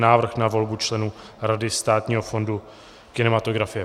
Návrh na volbu členů Rady Státního fondu kinematografie